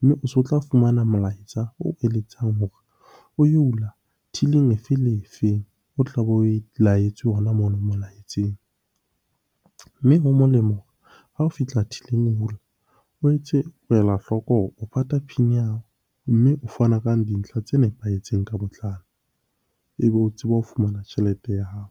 Mme o so tla fumana molaetsa o eletsang hore o yo hula till-ing efeng le efeng o tlabe oe laetswe hona mono molaetseng. Mme ho molemo ha o fihla till-ing o hula, o etse o ela hloko hore o pata PIN ya hao, mme o fana ka dintlha tse nepahetseng ka botlalo. Ebe o tseba ho fumana tjhelete ya hao.